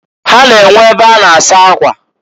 Ha na-enwe e be a na -asa akwa.